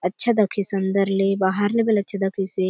अच्छा दखेसे अंदर ले बाहर ले बले अच्छा दखेसे।